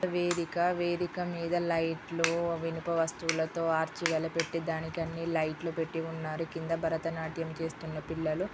వేదికవేదిక మీద లైట్లు ఇనుప వస్తువులతో ఆర్చరీలా పెట్టి దానికి అన్ని లైట్లు పెట్టి ఉన్నారుకింద భరత నాట్యం చేస్తున్న పిల్లలు.